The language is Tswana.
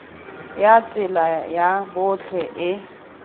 ya tsela ya botlhe e